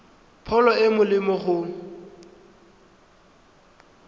pholo e e molemo go